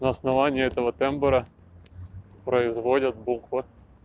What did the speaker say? на основании этого тембра производят буквы